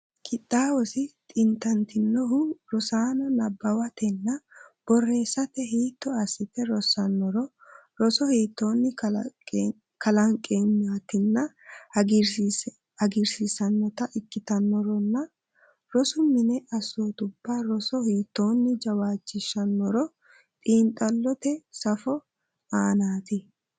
Qixxaawosi xintantinohuno, rosaano nabbawatenna borreessate hiitto assite rossannoro, rosa hiittoonni kalanqennitanna hagiirsiissannota ikkitannoronna, rosu mini assootubba roso hiittoonni jawaachishshannoro xiinxallote safo aanaati.